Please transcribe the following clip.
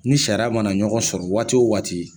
Ni sariya mana ɲɔgɔn sɔrɔ waati o waati